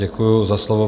Děkuji za slovo.